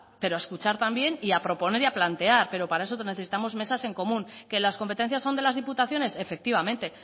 pero a escuchar también y a proponer y a plantear pero para eso necesitamos mesas en común que las competencias son de las diputaciones efectivamente